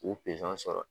K'u sɔrɔ